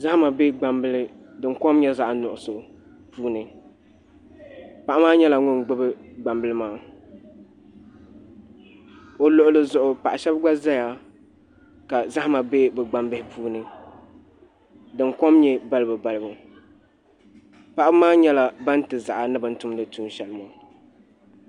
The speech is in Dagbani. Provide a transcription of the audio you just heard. zahima be gbambila din kom nyɛ zaɣ' nuɣiso puuni paɣa maa nyɛla ŋun gbubi gbambila maa o luɣili zuɣu paɣ' shaba gba zaya ka zahima be bɛ gbambihi puuni din kom nyɛ balibubalibu paɣaba maa nyɛla ban ti zaɣa ni bɛ ni tumdi tuun' shɛli maa